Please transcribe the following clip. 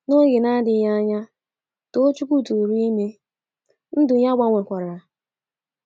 N'oge na - adịghị anya, Tochukwu tụụrụ ime — ndụ ya gbanwekwara.